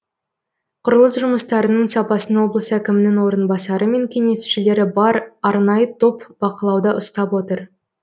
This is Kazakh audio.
құрылыс жұмыстарының сапасын облыс әкімінің орынбасары мен кеңесшілері бар арнайы топ бақылауда ұстап отыр